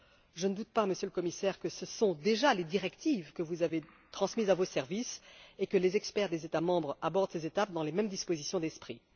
Je ne doute pas, Monsieur le Commissaire, que ce sont déjà les directives que vous avez transmises à vos services et que les experts des États membres abordent ces étapes dans les mêmes dispositions d'esprit.